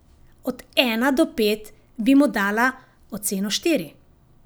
Od ena do pet bi mu dala oceno štiri.